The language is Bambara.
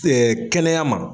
kɛnɛya ma